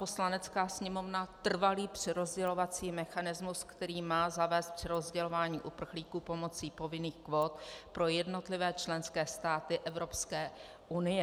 Poslanecká sněmovna trvalý přerozdělovací mechanismus, který má zavést přerozdělování uprchlíků pomocí povinných kvót pro jednotlivé členské státy Evropské unie.